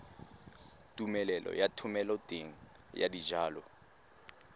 tumelelo ya thomeloteng ya dijalo